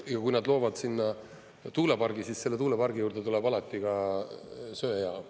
Ja kui nad loovad sinna tuulepargi, siis selle tuulepargi juurde tuleb alati ka söejaam.